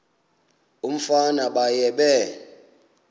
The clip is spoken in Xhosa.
umfana baye bee